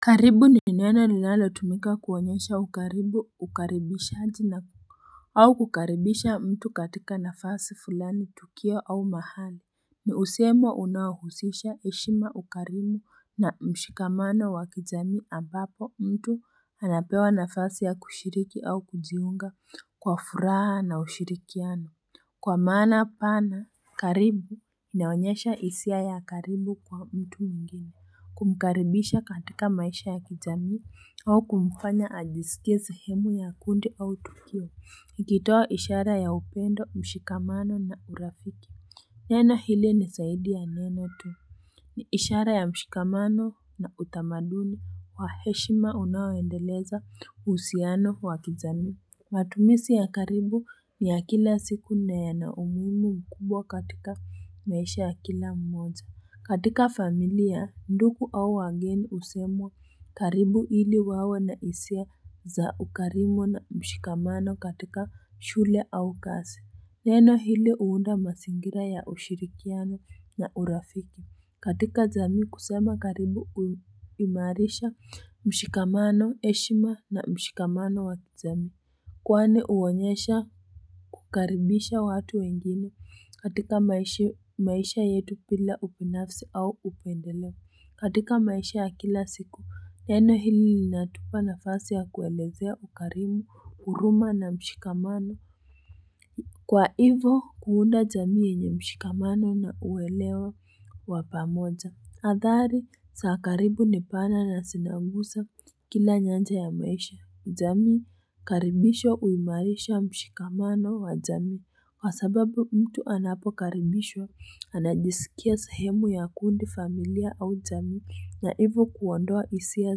Karibu ni neno linalotumika kuonyesha ukaribu ukaribishaji na au kukaribisha mtu katika nafasi fulani tukio au mahali ni usemo unaohusisha eshima ukaribu na mshikamano wa kijamii ambapo mtu anapewa nafasi ya kushiriki au kujunga kwa furaha na ushirikiano kwa maana pana karibu inaonyesha hisia ya karibu kwa mtu mwingine Kumkaribisha katika maisha ya kijamii au kumfanya ajisikie sehemu ya kundi au tukio ikitoa ishara ya upendo mshikamano na urafiki Neno ile ni zaidi ya neno tu ni ishara ya mshikamano na utamaduni wa heshima unaoendeleza uhusiano wa kijamii matumizi ya karibu ni ya kila siku na yana umuhimu mkubwa katika maisha ya kila mmoja katika familia ndugu au wageni husemwa karibu ili wawe na hisia za ukarimu na mshikamano katika shule au kazi. Neno hili huunda mazingira ya ushirikiano na urafiki. Katika jamii kusema karibu huimarisha mshikamano heshima na mshikamano wa kijamii. Kwani huonyesha kukaribisha watu wengine katika maisha yetu bila ubinafsi au upendeleo katika maisha ya kila siku. Neno hili linatupa nafasi ya kuelezea ukarimu, huruma na mshikamano. Kwa hivo, kuunda jamii yenye mshikamano na uelewa wa pamoja. Adhari za karibu nipana na zinaguza kila nyanja ya maisha. Jamii, karibisho huimarisha mshikamano wa jamii. Kwa sababu mtu anapokaribishwa, anajisikia sehemu ya kundi familia au jamii na hivo kuondoa hisia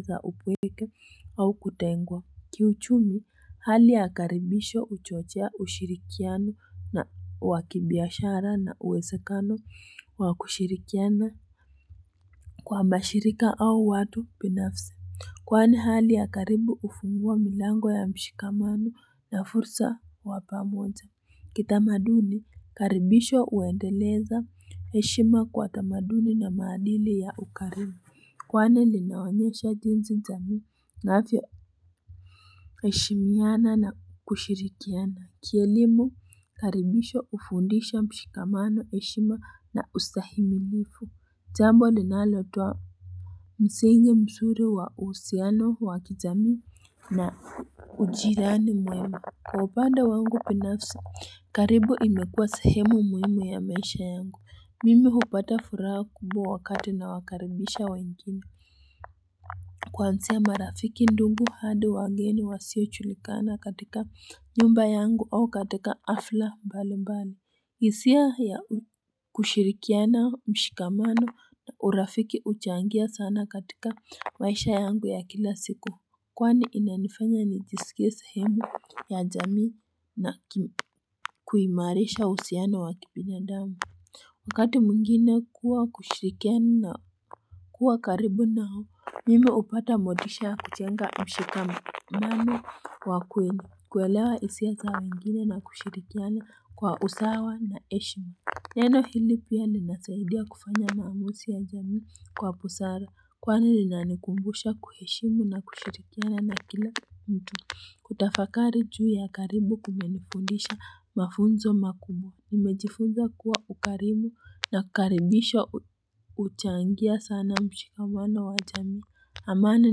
za ubwege au kutengwa. Kiuchumi, hali ya karibisho huchochea ushirikiano na wa kibiashara na uwezekano wa kushirikiana. Kwa mashirika au watu binafsi Kwani hali ya karibu hufungua milango ya mshikamano na fursa wa pamoja Kitamaduni karibisho huendeleza heshima kwa tamaduni na maadili ya ukarimu Kwani linaonyesha jinsi jamii inavyo heshimiana na kushirikiana Kielimu karibisho ufundisha mshikamano heshima na usahimilifu Jambo linalotoa msingi mzuri wa uhusiano wa kijamii na ujirani mwema kwa upande wangu binafsi karibu imekua sehemu muhimu ya maisha yangu Mimi hupata furaha kubwa wakati na wakaribisha wengine Kwanzia marafiki ndugu hadi wageni wasio julikana katika nyumba yangu au katika hafla mbali mbali hisia ya kushirikiana mshikamano na urafiki huchangia sana katika maisha yangu ya kila siku Kwani inanifanya nijisikie sehemu ya jamii na kuimarisha uhusiano wa kibinadamu Wakati mwingine kuwa kushirikiana na kuwa karibu Mimi hupata motisha kujenga mshikamano. Nami kwa kweli. Kuelewa hisia za wengine na kushirikiana kwa usawa na heshima. Neno hili pia linasaidia kufanya maamuzi ya jamii kwa busara. Kwani linanikumbusha kuheshimu na kushirikiana na kila mtu. Kutafakari juu ya karibu kumenifundisha mafunzo makubwa nimejifunza kuwa ukarimu na karibisho huchangia sana mshikamano wa jamii. Amani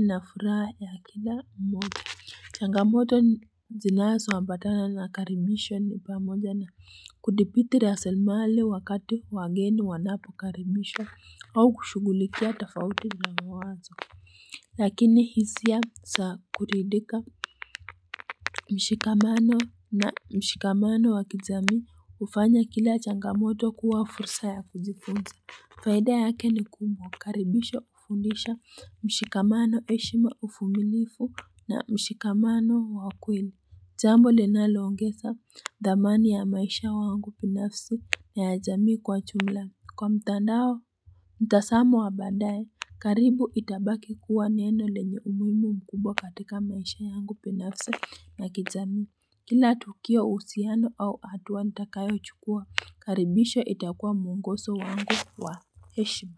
na furaha ya kila mmoja. Changamoto zinazo ambatana na karibisho ni upamoja na kudipiti rasilmali wakati wageni wanapo karibishwa au kushughulikia tofauti ni ya mawazo. Lakini hisia za kuridhika mshikamano na mshikamano wa kijamii hufanya kila changamoto kuwa fursa ya kujifunza. Faida yake ni kubwa, karibisho hufundisha mshikamano heshima uvumilivu na mshikamano wa ukweli. Jambo linalo ongeza dhamani ya maisha wangu binafsi ya jamii kwa jumla. Kwa mtandao, mtazamo wa baadaye, karibu itabaki kuwa neno lenye umuhimu mkubwa katika maisha yangu binafsi na kijamii. Kila tukio uhusiano au hatua nitakayo chukua, karibisho itakua mwongozo wangu wa heshima.